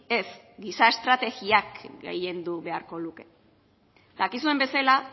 ez giza estrategiak gehiendu beharko luke dakizuen bezala